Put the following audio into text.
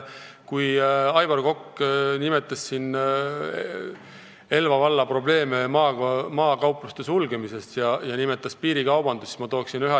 Aivar Kokk nimetas siin maakaupluste sulgemise ja piirikaubanduse probleeme Elva vallas.